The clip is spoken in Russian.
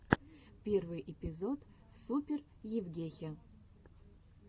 первый эпизод супер евгехи